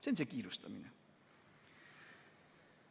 See on see kiirustamine.